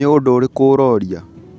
Nĩ ũndũ ũrĩkũ ũrooria ?